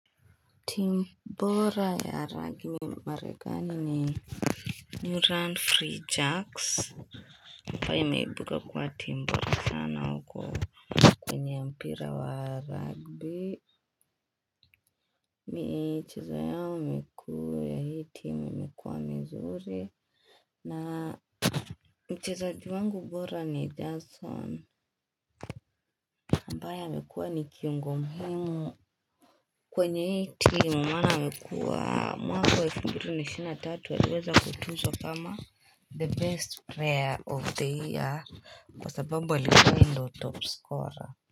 Timu bora ya ragmi Maregani ni Nuran Free Jacks Mpaya yameebuka kwa timbora sana huko kwenye mpira wa rugby ni cheza yao mikuu timu mzuri na mchezaji wangu bora ni johnson ambaye amekuwa ni kiungo muhimu kwenye hii team mana amekuwa mwaka fumbiri ishirini na tatu aliweza kutuzwa kama The best prayer of the year kwa sababu alikuwa yeye ndo top scorer.